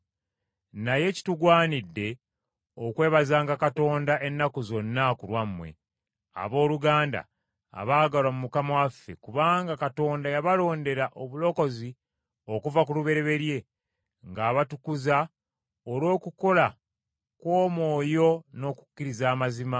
Naye kitugwanidde okwebazanga Katonda ennaku zonna ku lwammwe, abooluganda abaagalwa mu Mukama waffe, kubanga Katonda yabalondera obulokozi okuva ku lubereberye, ng’abatukuza olw’okukola kw’Omwoyo n’okukkiriza amazima,